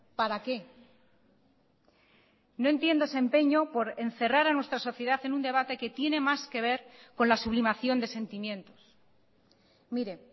para qué no entiendo ese empeño por encerrar a nuestra sociedad en un debate que tiene más que ver con la sublimación de sentimientos mire